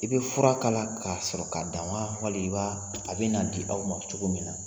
I bɛ fura kala k'a sɔrɔ k'a dan wa wali i b'a a bɛ na di aw ma cogo min na